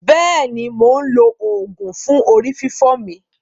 Bẹ́è ni, mò ń lo oògùn fún orí fífọ́ mi.